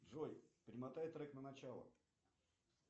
джой перемотай трек на начало